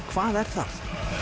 hvað er það